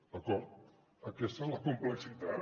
d’acord aquesta és la complexitat